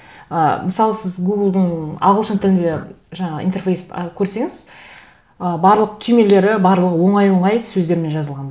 ы мысалы сіз гуглдың ағылшын тілінде жаңа интерфейс көрсеңіз ы барлық түймелері барлығы оңай оңай сөздермен жазылған